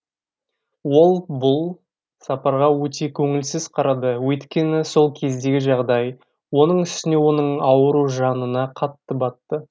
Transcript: ол бұл сапарға өте көңілсіз қарады өйткені сол кездегі жағдай оның үстіне оның ауруы жанына қатты батты